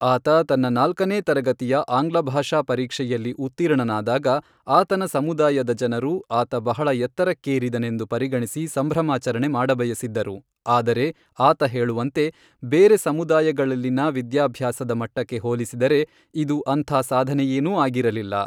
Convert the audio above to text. ಆತ ತನ್ನ ನಾಲ್ಕನೇ ತರಗತಿಯ ಆಂಗ್ಲಭಾಷಾ ಪರೀಕ್ಷೆಯಲ್ಲಿ ಉತ್ತೀರ್ಣನಾದಾಗ, ಆತನ ಸಮುದಾಯದ ಜನರು, ಆತ ಬಹಳ ಎತ್ತರಕ್ಕೇರಿದನೆಂದು ಪರಿಗಣಿಸಿ ಸಂಭ್ರಮಾಚರಣೆ ಮಾಡಬಯಸಿದ್ದರು, ಆದರೆ, ಆತ ಹೇಳುವಂತೆ, ಬೇರೆ ಸಮುದಾಯಗಳಲ್ಲಿನ ವಿದ್ಯಾಭ್ಯಾಸದ ಮಟ್ಟಕ್ಕೆ ಹೋಲಿಸಿದರೆ ಇದು ಅಂಥ ಸಾಧನೆಯೇನೂ ಆಗಿರಲಿಲ್ಲ.